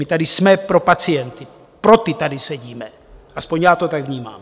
My tady jsme pro pacienty, pro ty tady sedíme, aspoň já to tak vnímám.